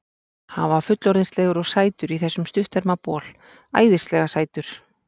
Hann var fullorðinslegur og sætur í þessum stutterma bol, æðislega sætur.